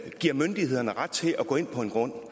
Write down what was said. giver myndighederne ret til at gå ind på en grund